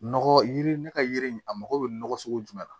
Nɔgɔ yiri ne ka yiri in a mago bɛ nɔgɔ sugu jumɛn na